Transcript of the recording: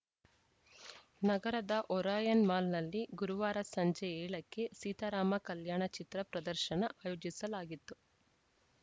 ನಗರದ ಒರಯಾನ್‌ ಮಾಲ್‌ನಲ್ಲಿ ಗುರುವಾರ ಸಂಜೆ ಏಳ ಕ್ಕೆ ಸೀತಾರಾಮ ಕಲ್ಯಾಣ ಚಿತ್ರ ಪ್ರದರ್ಶನ ಆಯೋಜಿಸಲಾಗಿತ್ತು